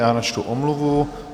Já načtu omluvu.